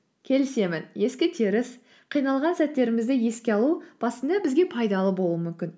келісемін ескі теріс қиналған сәттерімізді еске алу басында бізге пайдалы болуы мүмкін